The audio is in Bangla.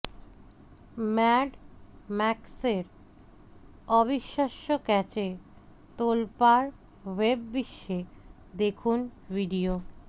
ম্যাড ম্যাক্সের অবিশ্বাস্য ক্যাচে তোলপাড় ওয়েব বিশ্বে দেখুন ভিডিও